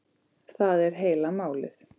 Það er heila málið!